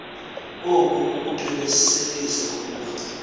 oku kukuqinisekisa ukuba